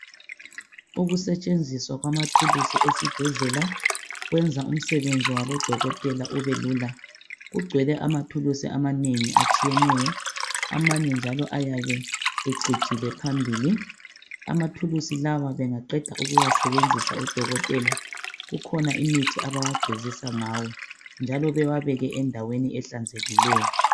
ukusetshenziswa kwamathulusi esibhedlela kwenza umsebenzi wabodokotela ubelula kugcwele amathulusi amanengi atshiyeneyo amanye njalo ayabe ecijile phambili amathulusi lawa bengaqeda ukuwasebenzisa odokotela kukhona imithi abawagezisa ngawo njalo bewabeke endaweni ehlanzekileyo